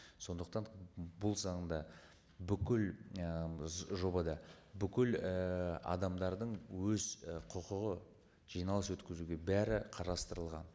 сондықтан бұл заңда бүкіл жобада бүкіл і адамдардың өз ы құқығы жиналыс өткізуге бәрі қарастырылған